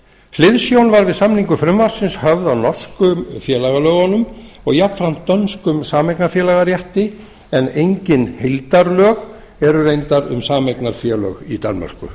hliðsjón var við samningu frumvarpsins höfð af norsku félagalögunum og jafnframt dönskum sameignarfélagarétti en engin heildarlög eru reyndar um sameignarfélög í danmörku